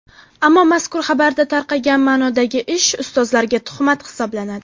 Ammo mazkur xabarda tarqagan ma’nodagi ish ustozlarga tuhmat hisoblanadi.